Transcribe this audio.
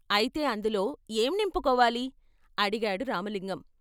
అయితే అందులో ఏం నింపుకోవాలి అడిగాడు రామలింగం.